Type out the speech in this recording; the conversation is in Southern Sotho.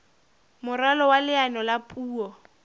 moralo wa leano la puo